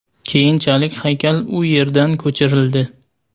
Keyinchalik haykal u yerdan ko‘chirildi.